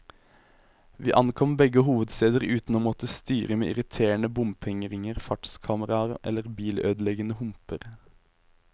Vi ankom begge hovedsteder uten å måtte styre med irriterende bompengeringer, fartskameraer eller bilødeleggende humper.